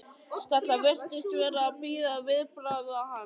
Stella virtist vera að bíða viðbragða hans.